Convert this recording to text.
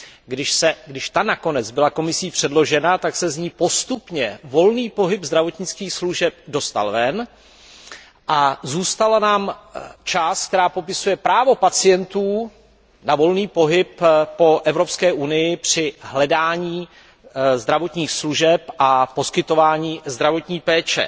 Když ta nakonec byla Komisí předložena, tak se z ní postupně volný pohyb zdravotnických služeb dostal ven a zůstala nám část, která popisuje právo pacientů na volný pohyb po Evropské unii při hledání zdravotních služeb a poskytování zdravotní péče.